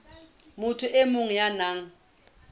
motho e mong ya nang